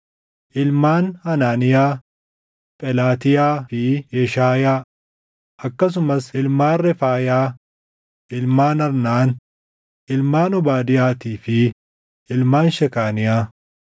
Ilmaan Hanaaniyaa: Phelaatiyaa fi Yeshaayaa; akkasumas ilmaan Refaayaa, ilmaan Arnaan, ilmaan Obaadiyaatii fi ilmaan Shekaaniyaa.